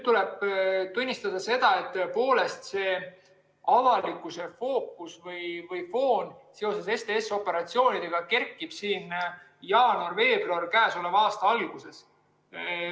Tuleb tunnistada, et tõepoolest avalikkuse fookus või foon seoses STS‑operatsioonidega kerkis esile jaanuaris-veebruaris käesoleva aasta alguses.